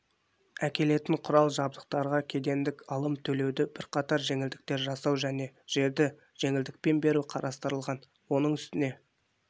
әкелетін құрал-жабдықтарға кедендік алым төлеуде бірқатар жеңілдіктер жасау және жерді жеңілдікпен беру қарастырылған оның үстіне